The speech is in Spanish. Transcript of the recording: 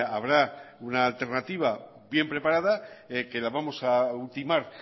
habrá una alternativa bien preparada que la vamos a ultimar